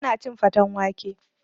Ba na cin faten wake